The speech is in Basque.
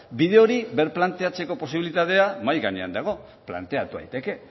bide hori birplanteatzeko posibilitatea mahai gainean dago planteatu daiteke